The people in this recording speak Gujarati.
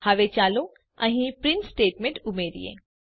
હવે ચાલો અહીં પ્રિન્ટ સ્ટેટમેંટને ઉમેરીએ